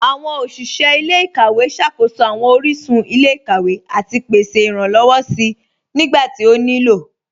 Awọn oṣiṣẹ ilẹ̀-ikawẹ̀ ṣákóṣọ awọn oríṣun ilẹ̀-ikawẹ̀ àti pèsè iránlọ́wọ̀ sí nígbàtí ó ní ilọ́.